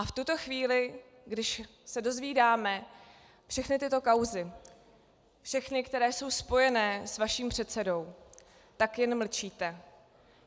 A v tuto chvíli, když se dozvídáme všechny tyto kauzy, všechny, které jsou spojené s vaším předsedou, tak jen mlčíte.